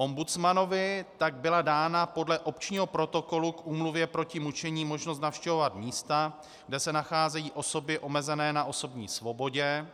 Ombudsmanovi tak byla dána podle Opčního protokolu k Úmluvě proti mučení možnost navštěvovat místa, kde se nacházejí osoby omezené na osobní svobodě,